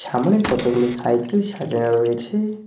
সামনে কতগুলি সাইকেল সাজানো রয়েছে।